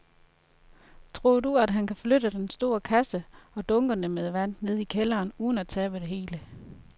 Tror du, at han kan flytte den store kasse og dunkene med vand ned i kælderen uden at tabe det hele?